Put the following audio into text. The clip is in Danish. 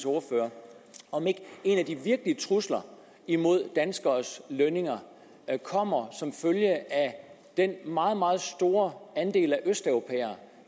ordfører om ikke en af de virkelige trusler mod danskernes lønninger kommer som følge af den meget meget store andel af østeuropæere